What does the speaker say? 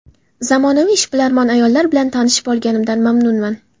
Zamonaviy, ishbilarmon ayollar bilan tanishib olinganimdan mamnunman”.